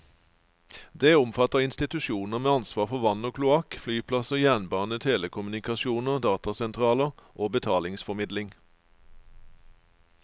Det omfatter institusjoner med ansvar for vann og kloakk, flyplasser, jernbane, telekommunikasjoner, datasentraler og betalingsformidling.